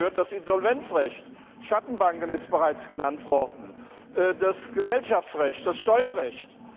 Dazu gehört das Insolvenzrecht, Schattenbanken das ist bereits genannt worden das Gesellschaftsrecht, das Steuerrecht.